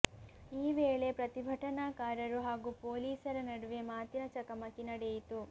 ಈ ವೇಳೆ ಪ್ರತಿಭಟನಾಕಾರರು ಹಾಗೂ ಪೊಲೀಸರ ನಡುವೆ ಮಾತಿನ ಚಕಮಕಿ ನಡೆಯಿತು